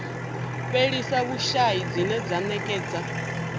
fhelisa vhushai dzine dza ṅekedza